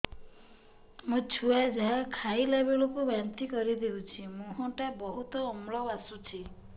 ମୋ ଛୁଆ ଯାହା ଖାଇଲା ବେଳକୁ ବାନ୍ତି କରିଦଉଛି ମୁହଁ ଟା ବହୁତ ଅମ୍ଳ ବାସୁଛି